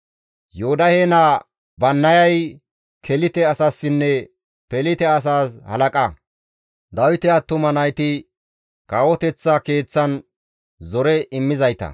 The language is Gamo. Yoodahe naa Bannayay Kelite asasinne Pelite asas halaqa; Dawite attuma nayti kawoteththa keeththan zore immizayta.